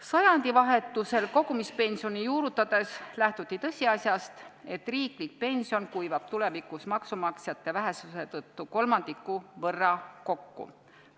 Sajandivahetusel kogumispensioni juurutades lähtuti tõsiasjast, et riiklik pension kuivab tulevikus maksumaksjate vähesuse tõttu kolmandiku võrra kokku.